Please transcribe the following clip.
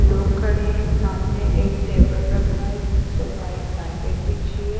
लोग खड़े हैं सामने एक टेबल रखा है जिस पर वाइट कार्पेट बिछी है।